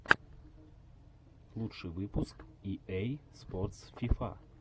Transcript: лучший выпуск и эй спортс фифа